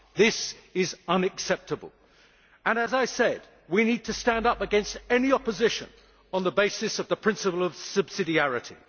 This is unacceptable and, as I said, we need to stand up against any opposition on the basis of the principle of subsidiarity.